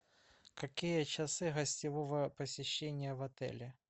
какие часы гостевого посещения в отеле